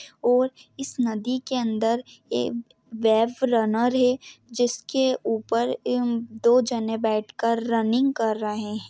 और इस नदी के अंदर एक बेफ रनर है जिसके ऊपर दो जने बेठ कर रनिंग कर रहे है।